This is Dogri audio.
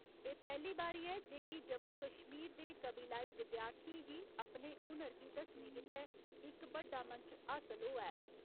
एह् पैह्‌ली बारी ऐ जे कि जम्मू कश्मीर दे कबीलाई विद्यार्थियें गी अपने हुनर गी दस्सने गित्ते इक बड्डा मंच हासल होआ ऐ।